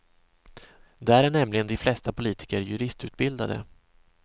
Där är nämligen de flesta politiker juristutbildade.